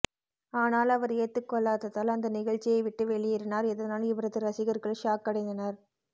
ஆனால் அவர் ஏத்துக்கொள்ளாததால் அந்த நிகழ்ச்சியை விட்டே வெளியேறினார் இதனால் இவரது ரசிகர்கள் ஷாக் அடைந்தனர்